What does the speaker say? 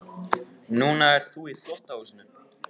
Núna ert þú í þvottahúsinu.